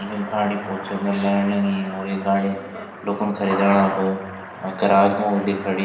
यह गाडी बहौत सुन्दर लगण लगीं और ये गाडी लुखुं खरीदण अब अ गराज मा होली खड़ीं।